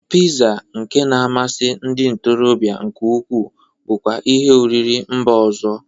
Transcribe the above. Piza nke na-amasi ndị ntorọbịa nke ukwu bụkwa ihi oriri mba ọzọ.